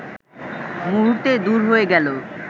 মুহূর্তে দূর হয়ে গেল